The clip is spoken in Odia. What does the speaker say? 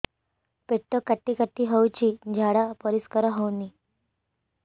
ପେଟ କାଟି କାଟି ହଉଚି ଝାଡା ପରିସ୍କାର ହଉନି